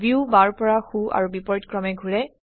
view বাওৰ পৰা সো আৰু বিপৰীত ক্ৰমে ঘোৰে